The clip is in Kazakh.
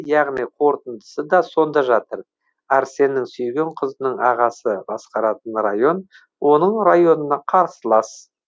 яғни қорытындысы сонда да жатыр арсеннің сүйген қызының ағасы басқаратын район оның районына қарсылас